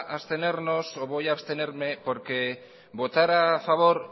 abstenernos o voy a abstenerme porque votar a favor